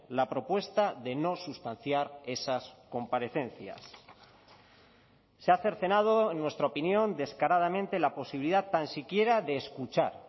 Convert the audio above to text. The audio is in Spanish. la propuesta de no sustanciar esas comparecencias se ha cercenado en nuestra opinión descaradamente la posibilidad tan siquiera de escuchar